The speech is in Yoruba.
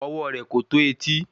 Ọwọ́ rẹ̀ kò tó etí